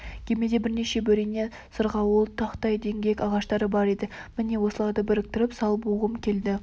кемеде бірнеше бөрене сырғауыл тақтай діңгек ағаштар бар еді міне осыларды біріктіріп сал буғым келді